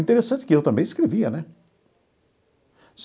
Interessante que eu também escrevia, né?